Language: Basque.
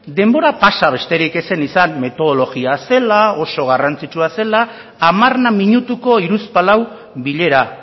denbora pasa besterik ez zen izan metodologia zela oso garrantzitsua zela hamarna minutuko hiruzpalau bilera